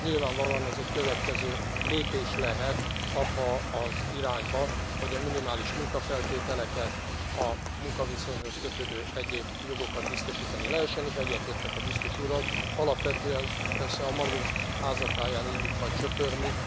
Nyilvánvalóan ez egy következő lépés lehet abba az irányba, hogy a minimális munkafeltételeket, a munkaviszonyhoz kötődő egyéb jogokat biztosítani lehessen, és egyetértek a biztos úrral, alapvetően persze a magunk háza táján illik majd söpörni.